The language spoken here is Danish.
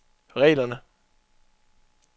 reglerne